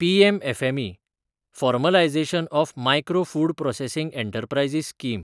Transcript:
PM FME – formalisation of micro food processing enterprises scheme